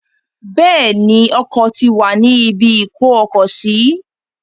Bẹ́ẹ̀ ni, Ọkọ̀ ti wà ní ibi ìkó-ọkọ̀-sí.